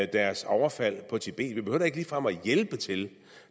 deres overfald på tibet vi behøver da ikke ligefrem at hjælpe til